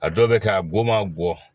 A dɔw bɛ kɛ a goman bɔ